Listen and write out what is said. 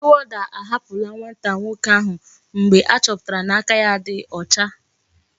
Ndi warder ahapula nwata nwoke ahu mgbe achoputara na aka ya di ocha